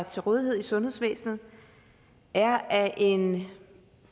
til rådighed i sundhedsvæsenet er af en